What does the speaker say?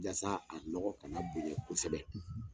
Yasa a nɔgɔ ka na bonya kosɛbɛ.